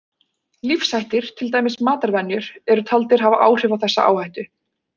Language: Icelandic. Lífshættir, til dæmis matarvenjur, eru taldir hafa áhrif á þessa áhættu.